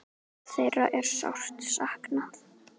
Þeirra er sárt saknað.